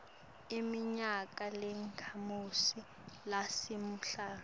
iminyaka lengemashumi lasihlanu